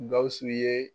Gawusu ye